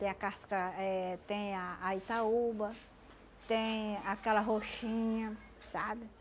Tem a casca eh, tem a a Itaúba, tem aquela roxinha, sabe?